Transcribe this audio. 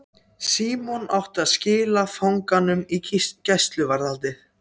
Símon átti að skila fanganum í gæsluvarðhaldið.